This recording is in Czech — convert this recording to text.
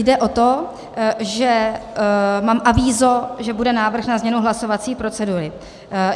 Jde o to, že mám avízo, že bude návrh na změnu hlasovací procedury.